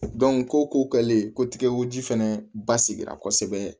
ko ko kɛlen ko tigɛ ko ji fɛnɛ basigi la kosɛbɛ